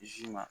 Zi ma